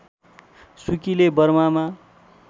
सुकीले बर्मामा